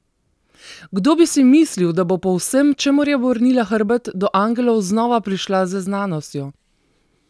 Kdo bi si mislil, da bo po vsem, čemur je obrnila hrbet, do angelov znova prišla z znanostjo?